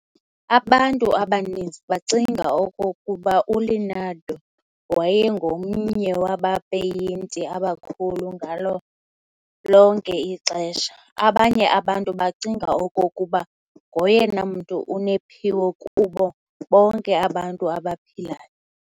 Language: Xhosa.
abantu abaniniz bacinga okokuba uLeonardo wayengomnye wabapeyinti abakhulu ngalo lonke ixesha. Abanye abantu becinga okokuba ngoyena mntu unephiwo kubo bonke abantu abaphilayo. .